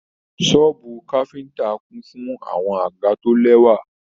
Sọ̀ọ́bú káfíntà kún fún àwọn àga to lẹwa.